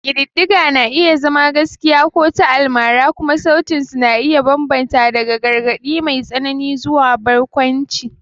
Ƙididdigar na iya zama gaskiya ko ta almara, kuma sautin su na iya bambanta daga gargaɗi mai tsanani zuwa barkwanci.